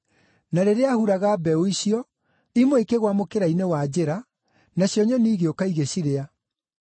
Na rĩrĩa aahuraga mbeũ icio, imwe ikĩgũa mũkĩra-inĩ wa njĩra, nacio nyoni igĩũka igĩcirĩa.